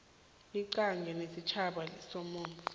iqhinga lesitjhaba lemithombo